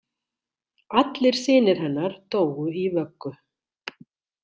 Allir synir hennar dóu í vöggu.